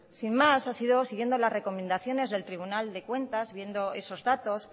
sin más ha sido siguiendo las recomendaciones del tribunal de cuentas viendo esos datos